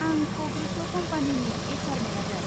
आं कग्निट' कम्पानिनि एइच आर मेनेजार।